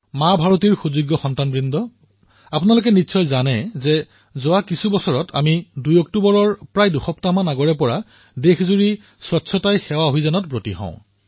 মা ভাৰতীৰ সুপুত্ৰসকল আপোনালোকৰ মনত আছে যে কিছু বছৰত আমি ২ অক্টোবৰৰ পূৰ্বে প্ৰায় ২ সপ্তাহলৈ সমগ্ৰ দেশতে স্বচ্ছতাই সেৱা অভিযান আৰম্ভ কৰিছিলো